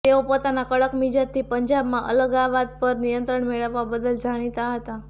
તેઓ પોતાના કડક મિજાજથી પંજાબમાં અલગાવવાદ પર નિયંત્રણ મેળવવા બદલ જાણીતા હતાં